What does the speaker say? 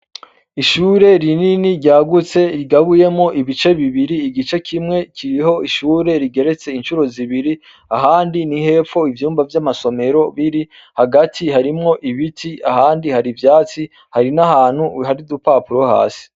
Ishure rinini ryagutse rigabuyemwo ibice bibiri, igice kimwe kiriho ishure rigeretse incuro zibiri, ahandi ni hepfo ivyumba vy'amasomero bibi, hagati harimwo ibiti, ahandi hari ivyatsi, hari n'ahantu hari udupapuro hasi.